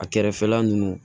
A kɛrɛfɛla nunnu